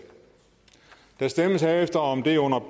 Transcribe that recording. der stemmes herefter om det under